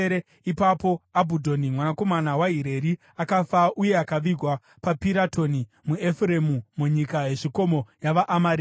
Ipapo Abhudhoni mwanakomana waHireri akafa, uye akavigwa paPiratoni muEfuremu, munyika yezvikomo yavaAmareki.